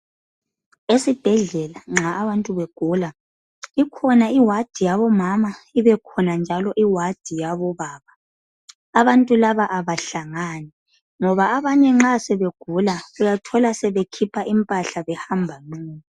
Esibhedlela nxa abantu begula, ikhona iward yabomama, ibekhona njalo iward yabobaba. Abantu laba abahlangani ngoba abanye nxa sebegula uyathola sebekhipha impahla behamba nqunu.